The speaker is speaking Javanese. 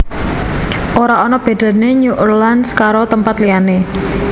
Ora ono bedane New Orleans karo tempat liyane